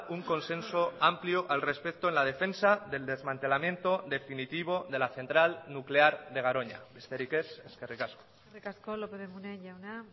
un consenso amplio al respecto en la defensa del desmantelamiento definitivo de la central nuclear de garoña besterik ez eskerrik asko eskerrik asko lópez de munain jauna